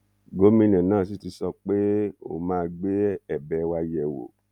gómìnà náà sì ti sọ pé òun máa gbé ẹbẹ wa yẹ wò